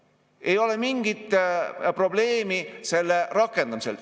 Ei ole mingit probleemi selle rakendamisel.